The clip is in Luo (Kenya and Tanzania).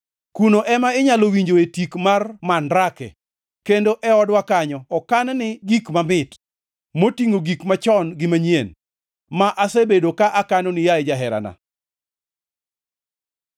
Kuno ema inyalo winjoe tik mar mandrake, kendo e odwa kanyo okanni gik mamit, motingʼo gik machon gi manyien, ma asebedo ka akanoni, yaye jaherana.